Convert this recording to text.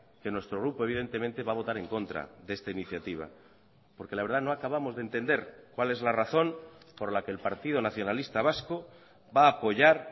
que nuestro grupo evidentemente va a votar en contra de esta iniciativa porque la verdad no acabamos de entender cuál es la razón por la que el partido nacionalista vasco va a apoyar